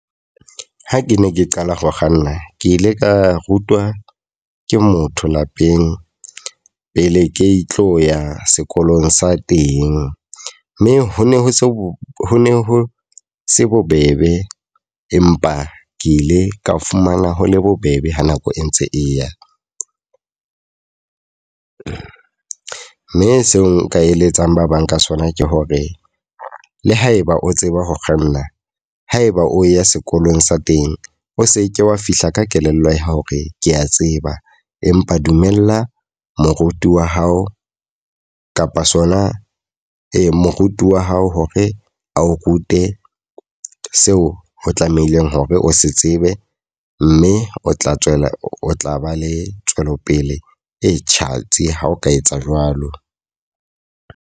Ha ke ne ke qala ho kganna. Ke ile ka rutwa ke motho lapeng pele ke tlo ya sekolong sa teng. Mme ho ne ho se ho ne ho se bobebe. Empa ke ile ka fumana ho le bobebe ha nako e ntse e ya. Mme seo nka eletsang ba bang ka sona ke hore le ha eba o tseba ho kganna, haeba o ya sekolong sa teng o se ke wa fihla ka kelello ya hore ke a tseba. Empa dumella moruti wa hao kapa sona ee moruti wa hao hore ao rute seo o tlamehileng hore o se tsebe. Mme o tla tswela o tla ba le tswelopele e tjhatsi ha o ka etsa jwalo.